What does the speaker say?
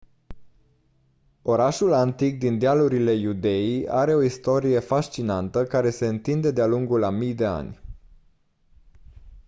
orașul antic din dealurile iudeii are o istorie fascinantă care se întinde de-a lungul a mii de ani